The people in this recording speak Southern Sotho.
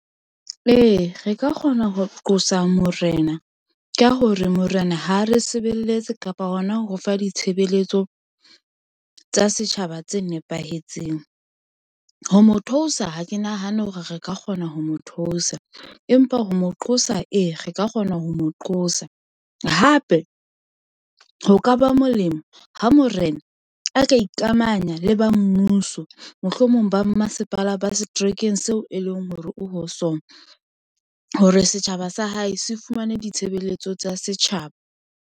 Ee, re ka kgona ho qosa morena ko hore morena ha re sebeletse kapa hona ho fa ditshebeletso tsa setjhaba tse nepahetseng. Ho mo theosa ha ke nahane hore re ka kgona ho mo theosa, empa ho mo qosa e re ka kgona ho mo qosa. Hape, ho ka ba molemo ha morena a ka ikamanya le ba mmuso mohlomong ba mmasepala ba setrekeng seo e leng hore o ho sona hore setjhaba sa hae se fumane ditshebeletso tsa setjhaba.